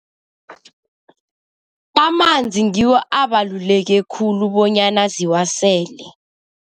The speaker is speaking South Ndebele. Amanzi ngiwo abaluleke khulu bonyana ziwasele.